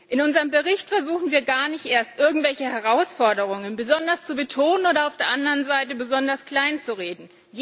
In unserem Bericht versuchen wir gar nicht erst, irgendwelche Herausforderungen besonders zu betonen oder auf der anderen Seite besonders kleinzureden.